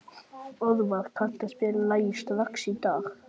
Orvar, kanntu að spila lagið „Strax í dag“?